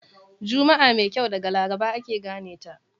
Juma'a mai kyau daga Laraba ake gane ta.